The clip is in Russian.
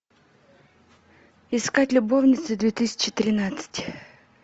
искать любовницы две тысячи тринадцать